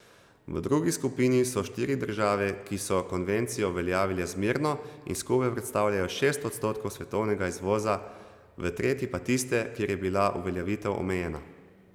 V drugi skupini so štiri države, ki so konvencijo uveljavile zmerno in skupaj predstavljajo šest odstotkov svetovnega izvoza, v tretji pa tiste, kjer je bila uveljavitev omejena.